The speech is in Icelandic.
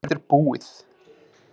Líf mitt er búið